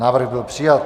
Návrh byl přijat.